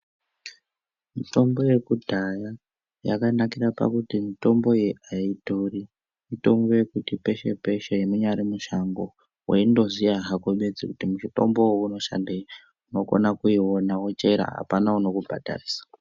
Mitombo yekudhaya yakanakira pakuti mitombo iyi aidhuri imwe kuti peshe peshe munyari mushango waindoziva hako kuti bedzi mutombo uyu unoshandei waingoona kuti bedzi apana anoku bhadharisa.